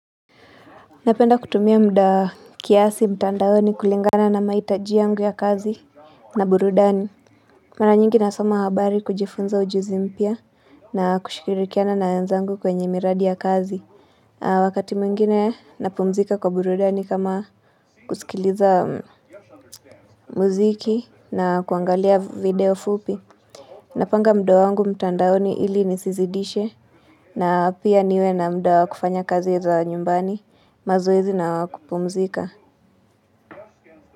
Napenda kutumia muda kiasi mtandaoni kulingana na mahitaji yangu ya kazi na burudani. Mara nyingi nasoma habari kujifunza ujuzi mpya na kushikirikiana na wenzangu kwenye miradi ya kazi. Wakati mwingine napumzika kwa burudani kama kusikiliza muziki na kuangalia video fupi. Napanga muda wangu mtandaoni ili nisizidishe na pia niwe na muda wa kufanya kazi za nyumbani. Mazoezi na wa kupumzika.